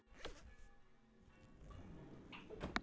Ástþór, hvað er mikið eftir af niðurteljaranum?